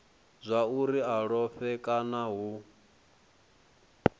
zwauri a lovhe kana hu